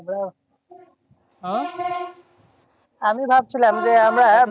আমরাও আহ আমি ভাবছিলাম যে, আমরা